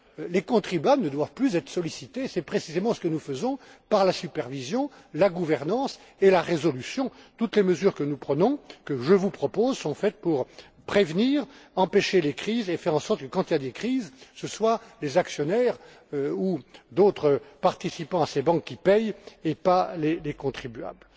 suffit! Les contribuables ne doivent plus être sollicités et c'est précisément ce que nous cherchons à atteindre par la supervision, la gouvernance et la résolution. Toutes les mesures que nous prenons, que je vous propose, sont destinées à prévenir, à empêcher les crises et faire en sorte que quand il y a des crises, ce soient les actionnaires ou d'autres participants à ces banques qui paient, et pas les contribuables.